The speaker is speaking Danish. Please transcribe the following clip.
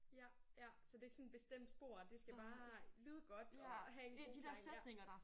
Ja ja så det ikke sådan bestemt spor det skal bare lyde godt og have en god gang ja